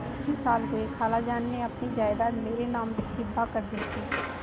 तीन साल हुए खालाजान ने अपनी जायदाद मेरे नाम हिब्बा कर दी थी